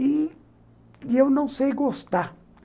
E eu não sei gostar.